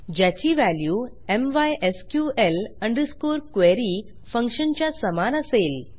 ज्याची value MySQL m y s q l underscore query function च्या समान असेल